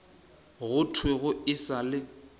go thwego e sa le